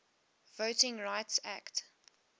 voting rights act